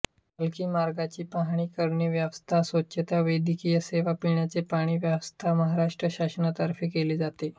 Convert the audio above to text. पालकी मार्गाची पाहणी करणे रस्त्यांची स्वछता वैद्यकीय सेवा पिण्याचे पाणी यांची व्यवस्था महाराष्ट्र शासनातर्फेकेली जाते